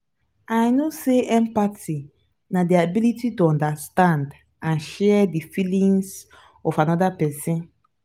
i know say empathy na di ability to understand and share di feelings of anoda pesin.